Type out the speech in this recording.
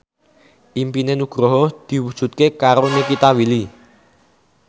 impine Nugroho diwujudke karo Nikita Willy